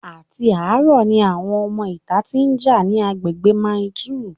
Àti àárọ̀ ni àwọn ọmọ ìta tí ń jà ní agbègbè Mile 2